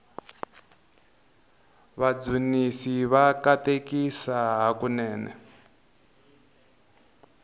vadzunisi va katekisa hakunene